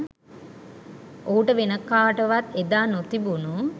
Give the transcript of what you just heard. ඔහුට වෙන කාටවත් එදා නොතිබුණු